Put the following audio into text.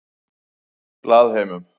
Glaðheimum